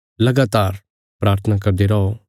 लगातार प्राथना करदे रौ